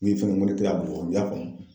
Min fɛnɛ mɔrikɛ y'a bugɔ u y'a famu.